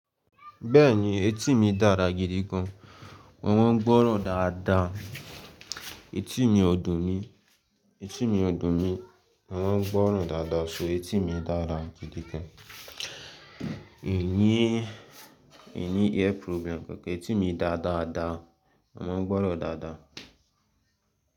Bẹ́ẹ̀ni etí mi dára gidi gan. Mo máa ń gbọ́ràn dáadáa. Etí mi ọ̀dùn mi, etí mi ọ̀dùn mi. Mo máa ń gbọ́ràn dáadáa so etí mi dára gidi gan. È ní, è ní ear problem. Etí mi dáadáa, mo má ń gbọ́ràn dáadáa.